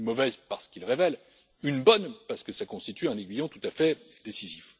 Une mauvaise parce qu'ils révèlent, une bonne parce qu'ils constituent un aiguillon tout à fait décisif.